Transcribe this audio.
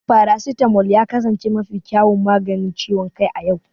Paracetamol ya kasance mafi kyawun maganin ciwon kai a yau.